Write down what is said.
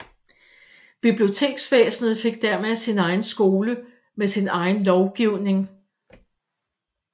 Biblioteksvæsenet fik dermed sin egen skole med sin egen lovgivning